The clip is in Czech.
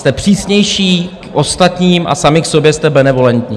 Jste přísnější k ostatním a sami k sobě jste benevolentní.